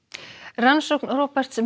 rannsókn Roberts